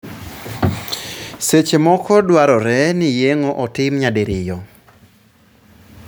Seche moko dwarore ni yeng'o otim nyadiriyo.